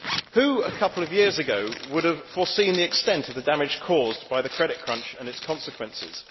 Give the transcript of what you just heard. Who, a couple of years ago, would have foreseen the extent of the damage caused by the credit crunch and its consequences?